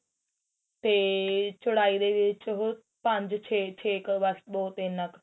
ਤੇ ਚੋੜਾਈ ਵਿੱਚ ਉਹ ਪੰਜ ਛੇ ਛੇ ਕ ਬੱਸ ਬਹੁਤ ਇੰਨਾ ਕ